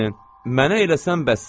Mənə eləsən bəssən!